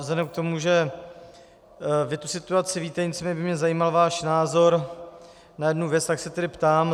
Vzhledem k tomu, že o té situaci víte, nicméně by mě zajímal váš názor na jednu věc, tak se tedy ptám.